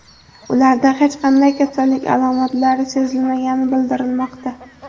Ularda hech qanday kasallik alomatlari sezilmagani bildirilmoqda.